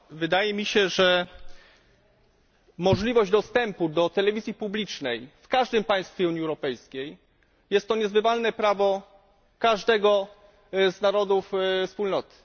Wydaje mi się, że możliwość dostępu do telewizji publicznej w każdym państwie Unii Europejskiej jest niezbywalnym prawem każdego z narodów Wspólnoty.